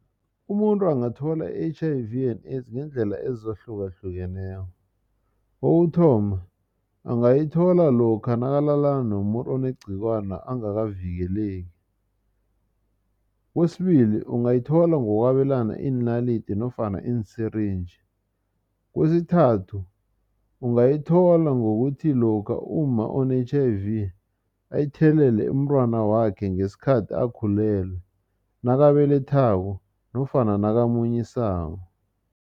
Umuntu angathola i-H_I_V and-AIDS ngeendlela ezahlukahlukeneko kokuthoma angayithola lokha nakalala nomuntu onegcikwana angakavikeleki. Kwesibili ungayithola ngokwabelana iinalidi nofana iin-syringe. Kwesithathu ungayithola ngokuthi lokha umma one-H_I_V ayithelelele umntwanakhe ngesikhathi akhulele nakabelethako nofana nakamunyisako.